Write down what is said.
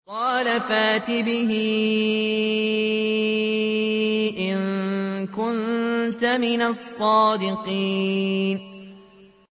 قَالَ فَأْتِ بِهِ إِن كُنتَ مِنَ الصَّادِقِينَ